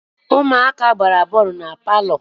Ụmụaka gbara bọọlụ na palọ